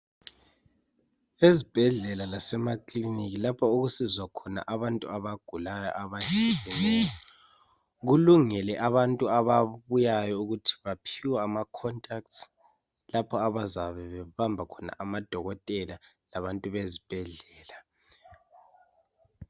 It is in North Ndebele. Ezibhedlela lasemakilinika lapho okusizwa khona abantu abagulayo abehlukeneyo kulungile abantu ababuyayo ukuthi baphiwe ama contacts lapho abazabe behamba khona amadokotela labantu bezibhedlela.